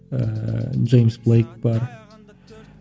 ыыы джеймс блэк бар